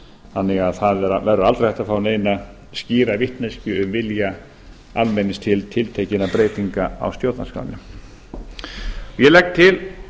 þannig að það verður aldrei hægt að fá neina skýra vitneskju um vilja almennings til tiltekinna breytinga á stjórnarskránni ég legg til